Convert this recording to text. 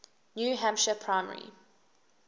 new hampshire primary